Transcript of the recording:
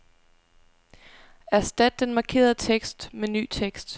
Erstat den markerede tekst med ny tekst.